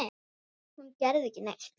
Hún gerði ekki neitt.